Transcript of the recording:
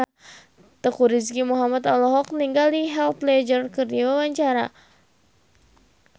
Teuku Rizky Muhammad olohok ningali Heath Ledger keur diwawancara